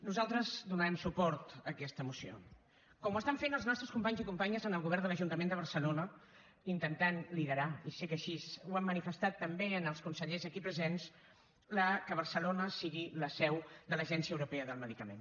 nosaltres donarem suport a aquesta moció com ho estan fent els nostres companys i companyes en el govern de l’ajuntament de barcelona intentant liderar i sé que així ho han manifestat també als consellers aquí presents que barcelona sigui la seu de l’agència europea del medicament